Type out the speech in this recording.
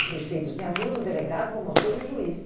O prefeito tinha duas, o delegado, o promotor e o juiz.